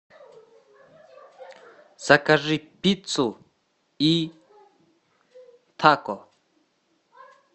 закажи пиццу и тако